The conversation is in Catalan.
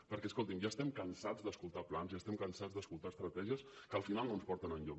perquè escolti’m ja estem cansats d’escoltar plans ja estem cansats d’escoltar estratègies que al final no ens porten enlloc